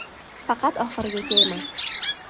Faqat oxirigacha emas.